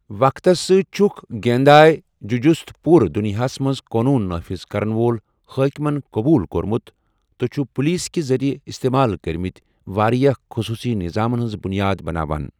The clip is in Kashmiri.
وقتَس سۭتۍ چھُکھ گینداے جُجُسُت پوٗرٕ دنیاہَس منٛز قونوٗن نافذ کرَن وول حٲکِمَن قبوٗل کوٚرمُت تہٕ چھُ پولیسہٕ کہِ ذٔریعہٕ اِستعمال کٔرمٕتۍ واریٛاہ خصوٗصی نظامَن ہٕنٛز بُنیاد بناوان۔